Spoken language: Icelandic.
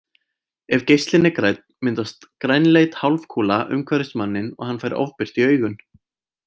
Ef geislinn er grænn myndast grænleit hálfkúla umhverfis manninn og hann fær ofbirtu í augun.